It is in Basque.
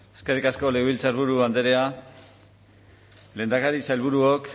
eskerrik asko legebiltzarburu andrea lehendakari sailburuok